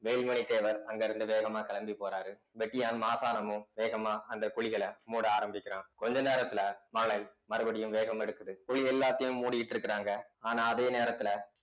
வேலுமணி தேவர் அங்கிருந்து வேகமா கிளம்பி போறாரு வெட்டியான் மாசாணமும் வேகமா அந்த குழிகளை மூட ஆரம்பிக்கிறான் கொஞ்ச நேரத்துல மழை மறுபடியும் வேகம் எடுக்குது குழி எல்லாத்தையும் மூடிட்டு இருக்கிறாங்க ஆனா அதே நேரத்துல